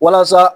Walasa